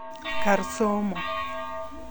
Kar somo.